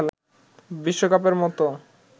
বিশ্বকাপের মতো